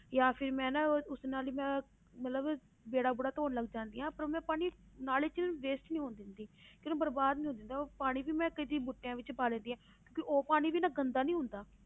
ਜਾਂ ਫਿਰ ਮੈਂ ਨਾ ਉਸ ਨਾਲ ਹੀ ਮੈਂ ਮਤਲਬ ਵਿਹੜਾ ਵੂਹੜਾ ਧੌਣ ਲੱਗ ਜਾਂਦੀ ਹਾਂ ਪਰ ਉਹ ਮੈਂ ਪਾਣੀ ਨਾਲੀ 'ਚ waste ਨੀ ਹੋਣ ਦਿੰਦੀ ਕਿ ਉਹਨੂੰ ਬਰਬਾਦ ਨੀ ਹੋਣ ਦਿੰਦੀ ਉਹ ਪਾਣੀ ਵੀ ਮੈਂ ਕਦੇ ਬੂਟਿਆਂ ਵਿੱਚ ਪਾ ਲੈਂਦੀ ਹਾਂ, ਉਹ ਪਾਣੀ ਵੀ ਨਾ ਗੰਦਾ ਨੀ ਹੁੰਦਾ।